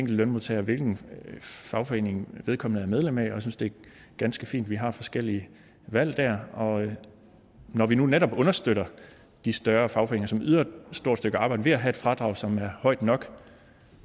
lønmodtager hvilken fagforening vedkommende er medlem af jeg synes det er ganske fint vi har forskellige valg og når vi nu netop understøtter de større fagforeninger som yder et stort stykke arbejde ved at have et fradrag som er højt nok